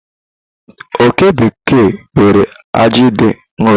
Oke bekee nwere aji dị nro.